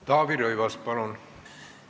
Taavi Rõivas, palun!